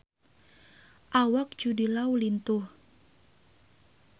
Awak Jude Law lintuh